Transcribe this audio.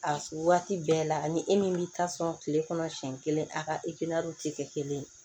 A waati bɛɛ la ani e min bɛ taa sɔn kile kɔnɔ siɲɛ kelen a ka tɛ kɛ kelen ye